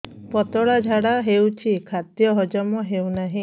ପତଳା ଝାଡା ହେଉଛି ଖାଦ୍ୟ ହଜମ ହେଉନାହିଁ